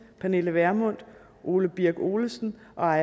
pernille vermund ole birk olesen og